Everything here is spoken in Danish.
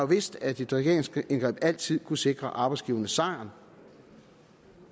vidst at et regeringsindgreb altid kunne sikre arbejdsgiverne sejren